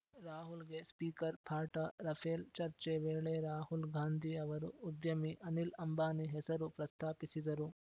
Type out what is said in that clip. ರಾಹುಲ್‌ಗೆ speaker ಪಾಠ Rafale ಚರ್ಚೆ ವೇಳೆ ರಾಹುಲ್‌ ಗಾಂಧಿ ಅವರು ಉದ್ಯಮಿ ಅನಿಲ್‌ ಅಂಬಾನಿ ಹೆಸರು ಪ್ರಸ್ತಾಪಿಸಿದರು